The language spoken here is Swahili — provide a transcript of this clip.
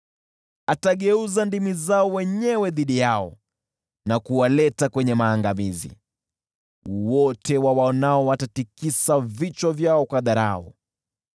Atageuza ndimi zao wenyewe dhidi yao na kuwaleta kwenye maangamizi; wote wawaonao watatikisa vichwa vyao kwa dharau.